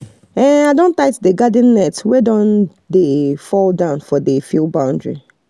i don tight um the garden net wey don um dey um fall down for the field boundary